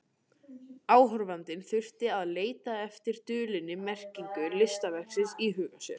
Áhorfandinn þurfti að leita eftir dulinni merkingu listaverksins í huga sér.